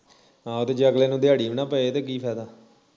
ਆਹ ਜੇ ਅਗਲੇ ਨੂੰ ਦਿਹਾੜੀ ਵੀ ਨਾ ਪਵੇ ਤੇ ਕੀ ਫਾਇਦਾ